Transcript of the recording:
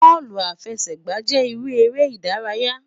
Bọọlu afẹsẹgba jẹ iru ere idaraya